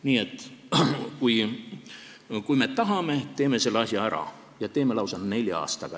Nii et kui me tahame, siis teeme selle asja ära ja teeme lausa nelja aastaga.